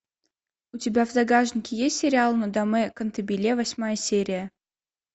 у тебя в загашнике есть сериал нодамэ кантабиле восьмая серия